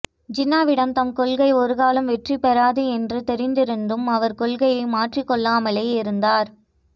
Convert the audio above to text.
ஜின்னாவிடம் தம் கொள்கை ஒருக்காலும் வெற்றி பெறாது என்று தெரிந்திருந்தும் அவர் கொள்கையை மாற்றிக் கொள்ளாமலேயே இருந்தார்